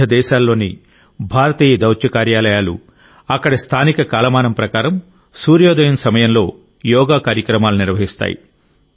వివిధ దేశాల్లోని భారతీయ దౌత్య కార్యాలయాలు అక్కడి స్థానిక కాలమానం ప్రకారం సూర్యోదయం సమయంలో యోగా కార్యక్రమాలను నిర్వహిస్తాయి